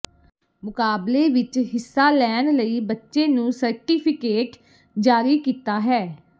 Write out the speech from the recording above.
ਮੁਕਾਬਲੇ ਵਿਚ ਹਿੱਸਾ ਲੈਣ ਲਈ ਬੱਚੇ ਨੂੰ ਸਰਟੀਫਿਕੇਟ ਜਾਰੀ ਕੀਤਾ ਹੈ